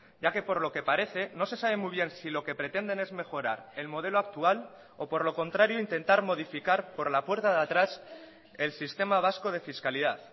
ya que por lo que parece no se sabe muy bien si lo que pretenden es mejorar el modelo actual o por lo contrario intentar modificar por la puerta de atrás el sistema vasco de fiscalidad